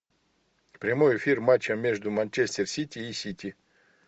прямой эфир матча между манчестер сити и сити